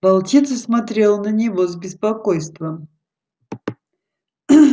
волчица смотрела на него с беспокойством